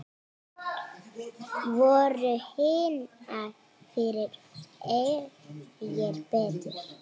Voru hinar fyrri fegri, betri?